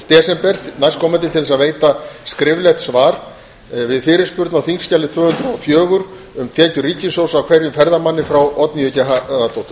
desember næstkomandi til þess að veita skriflegt svar við fyrirspurn á þingskjali tvö hundruð og fjögur um tekjur ríkissjóðs af hverjum ferðamanni frá oddnýju g harðardóttur